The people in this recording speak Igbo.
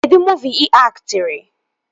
Kedụ muuvi ị aktịrị?